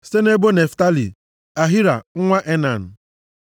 site nʼebo Naftalị, Ahira nwa Enan.”